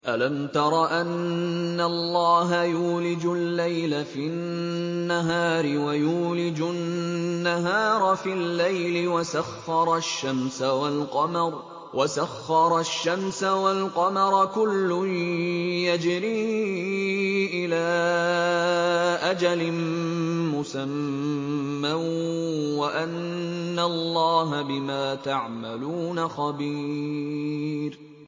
أَلَمْ تَرَ أَنَّ اللَّهَ يُولِجُ اللَّيْلَ فِي النَّهَارِ وَيُولِجُ النَّهَارَ فِي اللَّيْلِ وَسَخَّرَ الشَّمْسَ وَالْقَمَرَ كُلٌّ يَجْرِي إِلَىٰ أَجَلٍ مُّسَمًّى وَأَنَّ اللَّهَ بِمَا تَعْمَلُونَ خَبِيرٌ